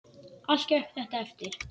Allt gekk þetta eftir.